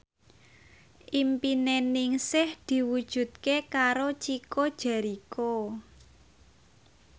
impine Ningsih diwujudke karo Chico Jericho